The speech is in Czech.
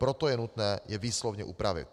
Proto je nutné je výslovně upravit.